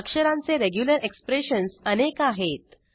अक्षरांचे regular expressions अनेक आहेत